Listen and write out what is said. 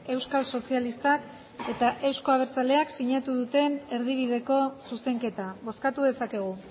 euskal sozialistak eta euzko abertzaleak sinatu duten erdibideko zuzenketa bozkatu dezakegu